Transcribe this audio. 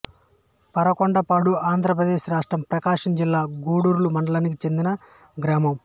పరకొండపాడు ఆంధ్రప్రదేశ్ రాష్ట్రం ప్రకాశం జిల్లా గుడ్లూరు మండలానికి చెందిన గ్రామం